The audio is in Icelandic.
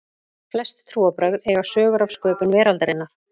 flest trúarbrögð eiga sögur af sköpun veraldarinnar